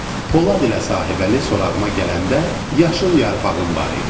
Polad ilə sahibəli sorağıma gələndə yaşıl yarpağım var idi.